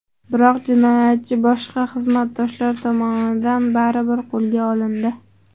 Biroq jinoyatchi boshqa xizmatdoshlar tomonidan baribir qo‘lga olindi.